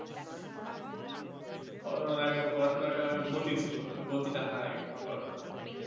corona এর আগে পড়াশোনার একটা গতি ছিল ওই গতি টা হারাই গেছে corona তে